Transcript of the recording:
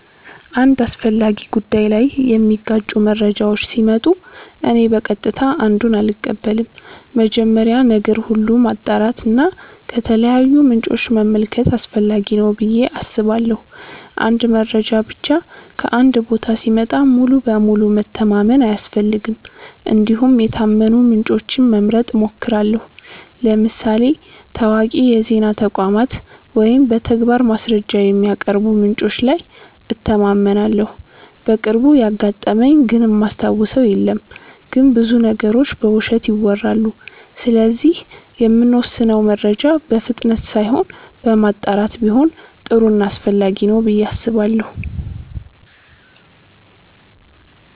አንድ አስፈላጊ ጉዳይ ላይ የሚጋጩ መረጃዎች ሲመጡ እኔ በቀጥታ አንዱን አልቀበልም። መጀመሪያ ነገር ሁሉ ማጣራት እና ከተለያዩ ምንጮች መመልከት አስፈላጊ ነው ብዬ አስባለሁ። አንድ መረጃ ብቻ ከአንድ ቦታ ሲመጣ ሙሉ በሙሉ መተማመን አያስፈልግም እንዲሁም የታመኑ ምንጮችን መምረጥ እሞክራለሁ ለምሳሌ ታዋቂ የዜና ተቋማት ወይም በተግባር ማስረጃ የሚያቀርቡ ምንጮች ላይ እተማመናለሁ። በቅርቡ ያጋጠመኝ ግን እማስታውሰው የለም ግን ብዙ ነገሮች በውሸት ይወራሉ ስለዚህ የምንወስነው መረጃ በፍጥነት ሳይሆን በማጣራት ቢሆን ጥሩ ና አስፈላጊ ነው ብዬ አስባለሁ።